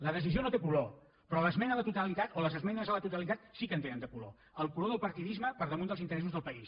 la decisió no té color però l’esmena a la totalitat o les esmenes a la totalitat sí que en tenen de color el color del partidisme per damunt dels interes·sos del país